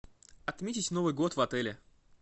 отметить новый год в отеле